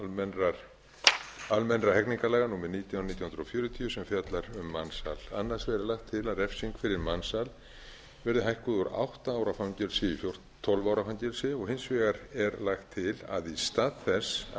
a almennra hegningarlaga númer nítján nítján hundruð fjörutíu sem fjallar um mansal annars vegar er lagt til að refsing fyrir mansal verði hækkuð úr átta ára fangelsi í tólf ára fangelsi og hins vegar er lagt til að í stað þess að